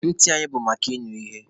Ntị anyị bụ maka ịnụ ihe.